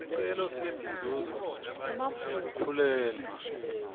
sicelo setinzuzo tekukhulelwa